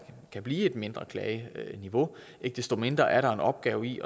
kan blive et mindre klageniveau ikke desto mindre er der en opgave i